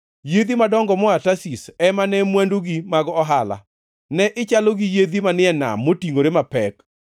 “ ‘Yiedhi madongo moa Tarshish ema ne mwandugi mag ohala. Ne ichalo gi yiedhi manie nam motingʼore mapek.